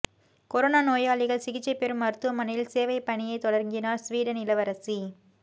corona நோயாளிகள் சிகிச்சை பெறும் மருத்துவமனையில் சேவை பணியை தொடங்கினார் சுவீடன் இளவரசி